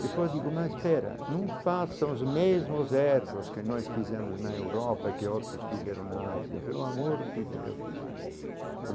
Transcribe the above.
Depois digo, mas pera, não façam os mesmos erros que nós fizemos na Europa que outros fizeram na Ásia, pelo amor de Deus.